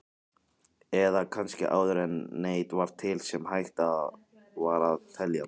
Eða kannski áður en neitt var til sem hægt var að telja?